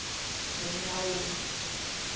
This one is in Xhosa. nonyawoza